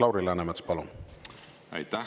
Lauri Läänemets, palun!